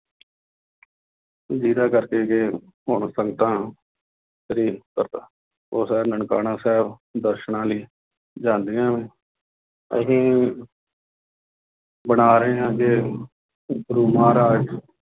ਜਿਹਦਾ ਕਰਕੇ ਕਿ ਹੁਣ ਸੰਗਤਾਂ ਉਹ ਸਭ ਨਨਕਾਣਾ ਸਾਹਿਬ ਦਰਸਨਾਂ ਲਈ ਜਾਂਦੀਆਂ ਨੇ ਅਸੀਂ ਬਣਾ ਰਹੇ ਹਾਂ ਗੁਰੂ ਮਹਾਰਾਜਾ